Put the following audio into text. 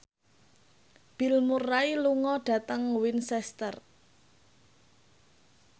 Bill Murray lunga dhateng Winchester